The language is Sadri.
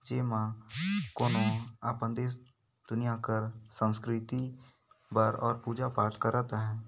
जेमा कोनों अपन देश दुनिया कर संस्कृति बर और पूजा-पाठ करत है।